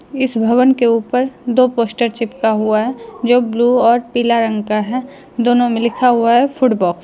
इस भवन के ऊपर दो पोस्टर चिपका हुआ है जो ब्लू और पीला रंग का है दोनों में लिखा हुआ है फूड बॉक्स ।